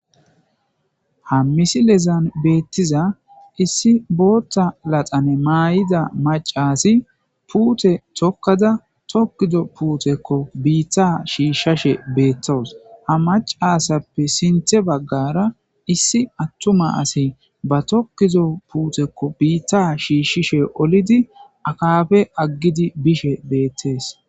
ha misilezan beettiza issi bootta laxane maayida macasi puute tokkada tokkizo puutekko biitta shiishshashe beettawus ha macasappe sinthe baggara issi attuma asi ba tokkizo puutekko biitta shiishshishe olidi akaafe aggidi bishe beettees